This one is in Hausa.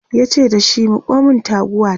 yace dashi "Miko min taguwa ta!"